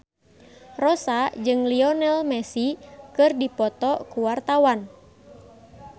Rossa jeung Lionel Messi keur dipoto ku wartawan